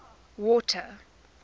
water